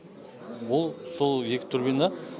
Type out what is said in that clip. ол сол екі турбина